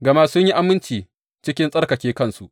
Gama sun yi aminci cikin tsarkake kansu.